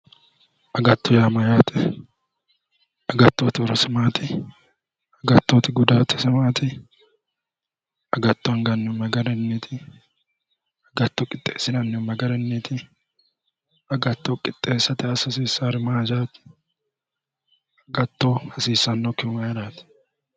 Agatto yaa mayyaate? Agattoyeti horose maati? Agattoyeti gudaatise maati? Agatto angannihu ma garinniiti? Agatto qixxeessinannihu ma garinniiti? Agatto qixxeessate assa hasiisaari maati? Agatto hasiissannokkihu mayiraati?